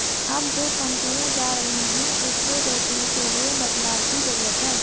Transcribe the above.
अब जो कंपनियां जा रही हैं उसे रोकने के लिए बदलाव की जरुरत है